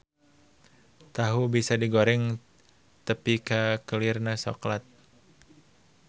Tahu bisa digoreng tepi ka kelirna soklat.